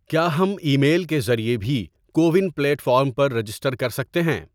کیا ہم email کے ذریعے بھی کو ون پلیٹ فارم پر رجسٹر کر سکتے ہیں؟